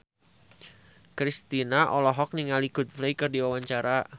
Kristina olohok ningali Coldplay keur diwawancara